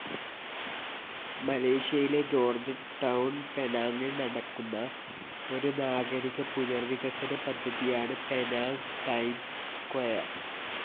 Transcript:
മലേഷ്യയിലെ George Town പെനാങ്ങിൽ നടക്കുന്ന ഒരു നാഗരിക പുനർ വികസന പദ്ധതിയാണ് പെനാങ്ങ് ടൈംസ് സ്ക്വയർ.